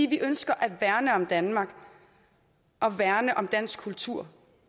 vi ønsker at værne om danmark og værne om dansk kultur